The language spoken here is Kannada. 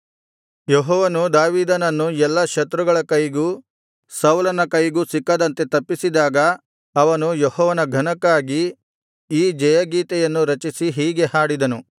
ಯೆಹೋವನು ದಾವೀದನನ್ನು ಎಲ್ಲಾ ಶತ್ರುಗಳ ಕೈಗೂ ಸೌಲನ ಕೈಗೂ ಸಿಕ್ಕದಂತೆ ತಪ್ಪಿಸಿದಾಗ ಅವನು ಯೆಹೋವನ ಘನಕ್ಕಾಗಿ ಈ ಜಯ ಗೀತೆಯನ್ನು ರಚಿಸಿ ಹೀಗೆ ಹಾಡಿದನು